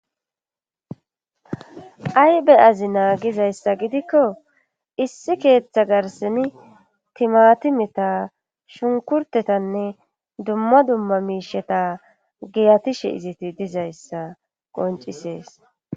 aybeyazi naagizayssa gidikko issi keeththa garseni timatimeta shunkurtetanne dumma dumma miisheta giyatishe iziti dizayssa qoncisees